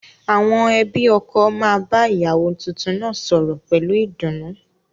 Àwọn ẹbí ọkọ máa bá ìyàwó tuntun náà sọ̀rọ̀ pẹ̀lú ìdùnnú